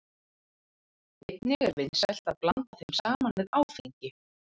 Einnig er vinsælt að blanda þeim saman við áfengi.